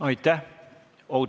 Aitäh!